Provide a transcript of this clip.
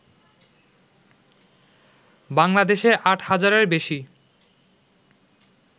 বাংলাদেশে আট হাজারের বেশি